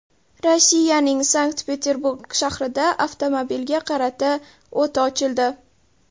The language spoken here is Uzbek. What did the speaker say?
Rossiyaning Sankt-Peterburg shahrida avtomobilga qarata o‘t ochildi.